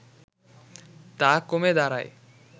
তা কমে দাঁড়ায়